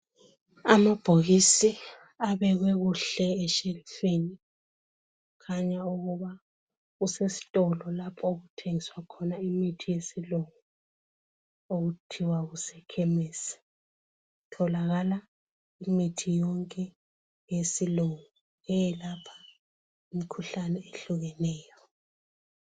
Amabhokisi abekwe kuhle eshelufini, kukhanya ukubana kusesitolo lapho okuthengiswa khona imithi yesilungu okuthiwa kuse ekhemesi. Kutholakala imithi yonke yesilungu eyelapha imikhuhlane ehlukeneyo.